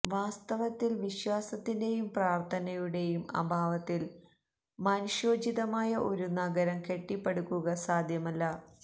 വാസ്തവത്തില് വിശാസത്തിന്റെയും പ്രാര്ത്ഥനയുടെയും അഭാവത്തില് മനുഷ്യോചിതമായ ഒരു നഗരം കെട്ടിപ്പടുക്കുക സാധ്യമല്ല